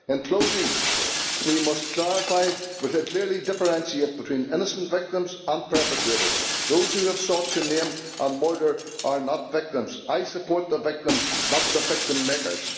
In closing, we must clarify and clearly differentiate between innocent victims and perpetrators. Those who have sought to maim and murder are not victims. I support the victims, not the victim makers.